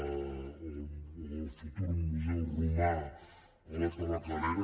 o el futur museu romà a la tabacalera